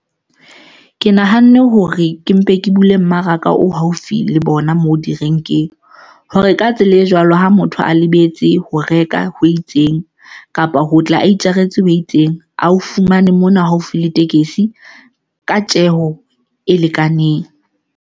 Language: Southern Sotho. Ke nahanne hore ke mpe ke bule mmaraka o haufi le bona moo direnkeng hore ka tsela e jwalo, ha motho a lebetse ho reka ho itseng kapa ho tla a itjaretse ho itseng, a ho fumane mona haufi le tekesi ka tjeho e lekaneng.